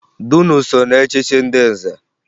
Dunu so na echchi ndị nze